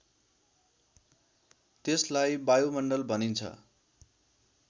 त्यसलाई वायुमण्डल भनिन्छ